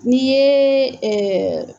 N'i ye